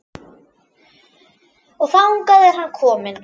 Og þangað er hann kominn.